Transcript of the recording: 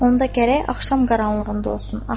Onda gərək axşam qaranlığında olsun.